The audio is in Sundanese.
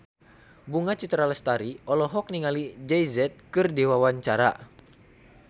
Bunga Citra Lestari olohok ningali Jay Z keur diwawancara